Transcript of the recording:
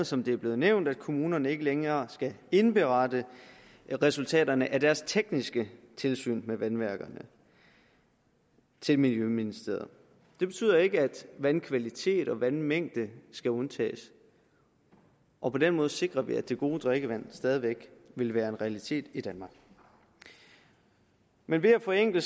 som det er blevet nævnt at kommunerne ikke længere skal indberette resultaterne af deres tekniske tilsyn med vandværkerne til miljøministeriet det betyder ikke at vandkvalitet og vandmængde skal undtages og på den måde sikrer vi at det gode drikkevand stadig væk vil være en realitet i danmark men ved at forenkle